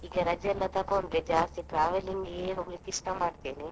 ಈಗ ರಜೆ ಎಲ್ಲ ತಗೊಂಡ್ರೆ ಜಾಸ್ತಿ travelling ಇಗೆ ಹೋಗ್ಲಿಕ್ಕೆ ಇಷ್ಟ ಮಾಡ್ತೇನೆ.